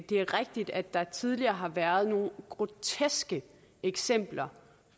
det er rigtigt at der tidligere har været nogle groteske eksempler